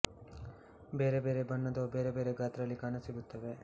ಬೇರೆ ಬೇರೆ ಬಣ್ಣದವು ಬೇರೆ ಬೇರೆ ಗಾತ್ರಗಳಲ್ಲಿ ಕಾಣ ಸಿಗುತ್ತವೆ